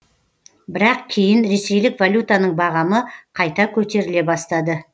бірақ кейін ресейлік валютаның бағамы қайта көтеріле бастады